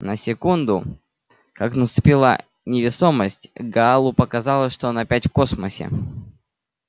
на секунду как наступила невесомость гаалу показалось что он опять в космосе